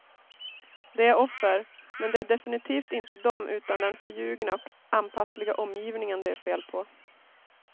De är offer, men det är definitivt inte dem utan den förljugna och anpassliga omgivningen det är fel på.